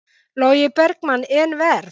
Logi Bergmann: En verð?